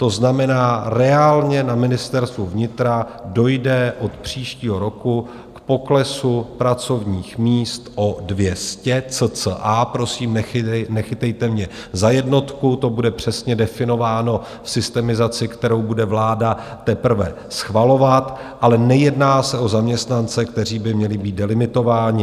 To znamená, reálně na Ministerstvu vnitra dojde od příštího roku k poklesu pracovních míst o 200 cca, prosím, nechytejte mě za jednotku, to bude přesně definováno v systemizaci, kterou bude vláda teprve schvalovat, ale nejedná se o zaměstnance, kteří by měli být delimitováni.